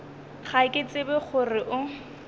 ga ke tsebe gore o